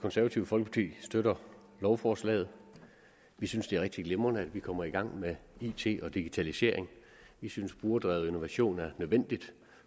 konservative folkepartis støtter lovforslaget vi synes det er rigtig glimrende at vi kommer i gang med it og digitalisering vi synes at brugerdrevet innovation er nødvendigt